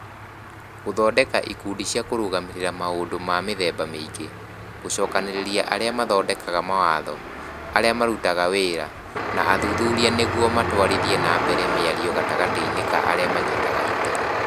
Gũthondeka ikundi cia kũrũgamĩrĩra maũndũ ma mĩthemba mĩingĩ, gũcokanĩrĩria arĩa mathondekaga mawatho, arĩa marutaga wĩra, na athuthuria nĩguo matwarithie na mbere mĩario gatagatĩ-inĩ ka arĩa maranyita itemi